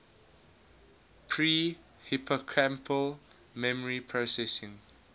pre hippocampal memory processing